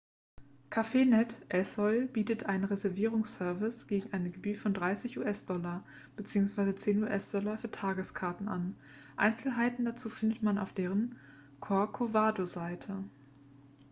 cafenet el sol bietet einen reservierungsservice gegen eine gebühr von 30 us-dollar bzw. 10 us-dollar für tageskarten an einzelheiten dazu findet man auf deren corcovado-seite